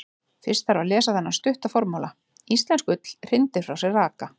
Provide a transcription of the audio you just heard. Fyrst þarf að lesa þennan stutta formála: Íslensk ull hrindir frá sér raka.